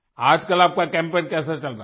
आज कल आपका कैम्पेन कैसा चल रहा है